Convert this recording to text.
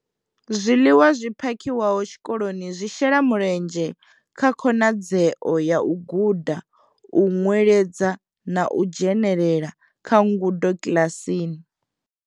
Zwiḽiwa zwi phakhiwaho tshikoloni zwi shela mulenzhe kha khonadzeo ya u guda, u nweledza na u dzhenela kha ngudo kiḽasini.